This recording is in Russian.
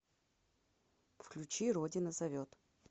включи родина зовет